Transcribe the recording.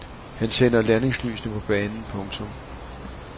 Han tænder landingslysene på banen. punktum